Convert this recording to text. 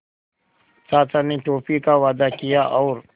चाचा ने टॉफ़ी का वादा किया और